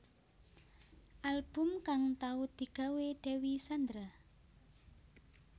Album kang tau digawé Dewi Sandra